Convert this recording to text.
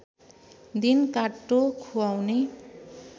दिन काट्टो खुवाउने